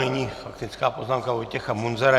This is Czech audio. Nyní faktická poznámka Vojtěcha Munzara.